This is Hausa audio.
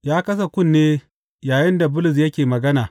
Ya kasa kunne yayinda Bulus yake magana.